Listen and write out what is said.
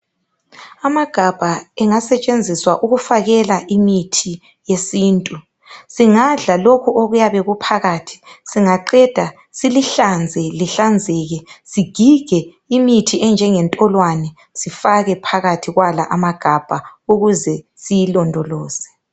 Amagabha engasetshenziswa ukufakela imithi yesintu. Singadla lokhu okuyabe kuphakathi singaqeda silihlanze lihlanzeke, sigige imithi enjengentolwane, sifake phakathi kwala amagabha ukuze siyilondoloze.